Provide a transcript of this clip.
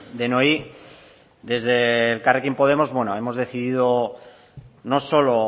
denoi desde elkarrekin podemos hemos decidido no solo